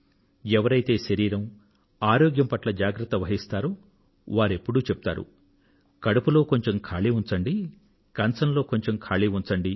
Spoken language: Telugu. ఎవరైతే శరీరం ఆరోగ్యం పట్ల జాగ్రత్త వహిస్తారో వారెప్పుడూ చెప్తారు కడుపులో కొంచెం ఖాళీ ఉంచండి కంచంలో కొంచెం ఖాళీ ఉంచండి